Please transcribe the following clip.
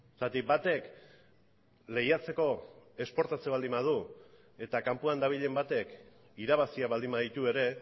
zergatik batek lehiatzeko esportatzen baldin badu eta kanpoan dabilen batek irabazia baldin baditu ere